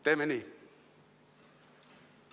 Teeme nii!